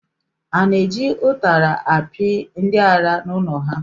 A na-eji ụtara akpị ndị ara n’ụlọ ha?